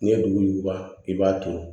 N'i ye duguba i b'a to